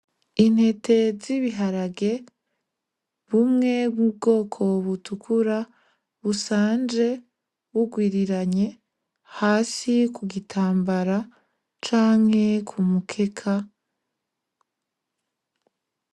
Intete z'ibiharage, bumwe bwu bwoko butukura busanje burwiriranye hasi ku gitambara canke ku mukeka.